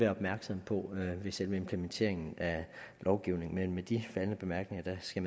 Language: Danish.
opmærksomme på ved selve implementeringen af lovgivningen men med de faldne bemærkninger skal